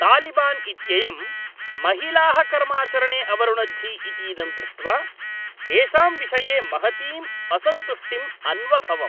तालिबान् इत्ययं महिलाः कर्माचरणे अवरुणद्धि इतीदं दृष्ट्वा तेषां विषये महतीं असन्तुष्टिम् अन्वभवम्।